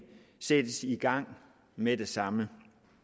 sættes i gang med det samme